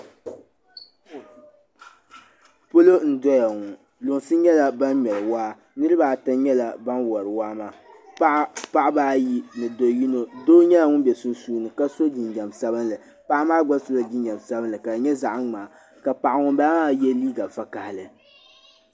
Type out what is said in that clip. Palɔ n doya ŋɔ. lunsi nyala ban ŋmeri waa. niribi ata nyɛla ban wari waa maa. paɣibi ayi ni do yinɔ doo nyɛla ŋun be sun suuni kaso jin jam sabinli, paɣimaa gba sola jin jam sabinli ka di nyɛ zaɣi mŋaa ,ka paɣi ŋun bala maa gba ye liiga vakahili.